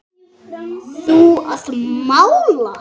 Þú að mála.